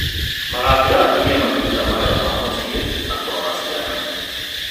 magatiga atumia makĩruta mawĩra ma mũciĩ na kũrora ciana.